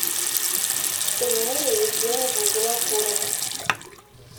эльмире евгеньевне винокуровой